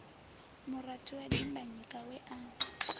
murathu wa dimbanyika we a